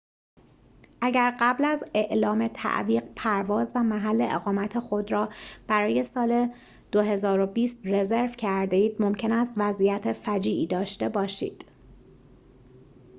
اگر قبل از اعلام تعویق پرواز و محل اقامت خود را برای سال ۲۰۲۰ رزرو کرده اید ممکن است وضعیت فجیعی داشته باشید